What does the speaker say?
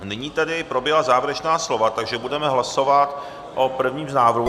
Nyní tedy proběhla závěrečná slova, takže budeme hlasovat o prvním z návrhů.